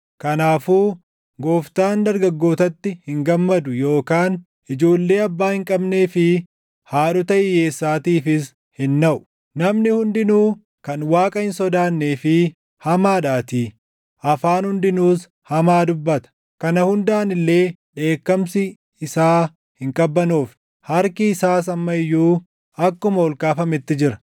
Kanaafuu Gooftaan dargaggootatti hin gammadu yookaan ijoollee abbaa hin qabnee fi // haadhota hiyyeessaatiif hin naʼu; namni hundinuu kan Waaqa hin sodaannee fi hamaadhaatii; afaan hundinuus hamaa dubbata. Kana hundaan illee dheekkamsi isaa hin qabbanoofne; harki isaas amma iyyuu akkuma ol kaafametti jira.